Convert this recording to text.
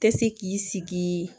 Tɛ se k'i sigi